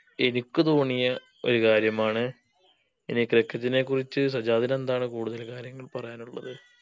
എനിക്ക് തോണിയ ഒരു കാര്യമാണ് ഇനി cricket നെ കുറിച്ച് സജ്ജാദിനെന്താണ് കൂടുതൽ കാര്യങ്ങൾ പറയാനുള്ളത്